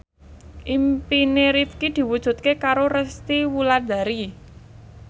impine Rifqi diwujudke karo Resty Wulandari